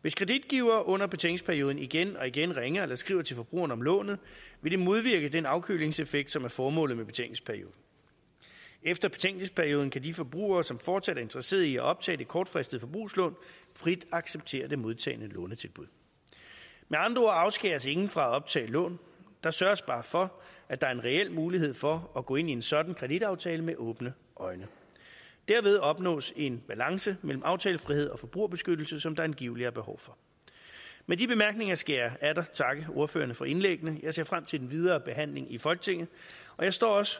hvis kreditgiver under betænkningsperioden igen og igen ringer eller skriver til forbrugeren om lånet vil det modvirke den afkølingseffekt som er formålet med betænkningsperioden efter betænkningsperioden kan de forbrugere som fortsat er interesseret i at optage det kortfristede forbrugslån frit acceptere det modtagne lånetilbud med andre ord afskæres ingen fra at optage lån der sørges bare for at der er en reel mulighed for at gå ind i en sådan kreditaftale med åbne øjne derved opnås en balance mellem aftalefrihed og forbrugerbeskyttelse som der angiveligt er behov for med de bemærkninger skal jeg atter takke ordførerne for indlæggene jeg ser frem til den videre behandling i folketinget og jeg står også